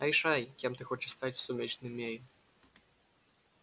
решай кем ты хочешь стать в сумеречном мире